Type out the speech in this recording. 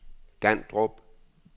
Gandrup